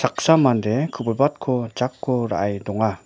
mande ku·bilbatko jako ra·e donga.